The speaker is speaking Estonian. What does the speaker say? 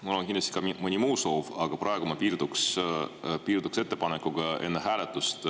Mul on kindlasti ka mõni muu soov, aga praegu ma piirduks ettepanekuga enne hääletust …